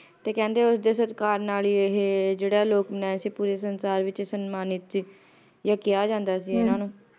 ਤੇ ਕਹਿੰਦੇ ਉਸਦੇ ਸਤਿਕਾਰ ਨਾਲ ਹੀ ਇਹ ਜਿਹੜਾ ਲੋਕਮਨਾਯਾ ਸੀ ਪੂਰੇ ਸੰਸਾਰ ਵਿੱਚ ਸਨਮਾਨਿਤ ਸੀ ਯਾ ਕਿਹਾ ਜਾਂਦਾ ਸੀ ਇਹਨਾਂ ਨੂੰ